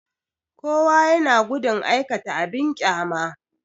Kowa ya na gudun aikata abin ƙyama